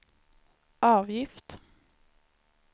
avgift